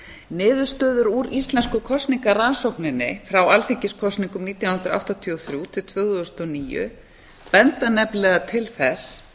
niðurstöður úr íslensku kosningarannsókninni frá alþingiskosningum nítján hundruð áttatíu og þrjú til tvö þúsund og níu benda nefnilega til þess